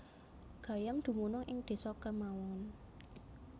Gayam dumunung ing desa kemawon